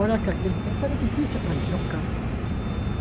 Olha que naquele tempo era difícil aparecer um carro.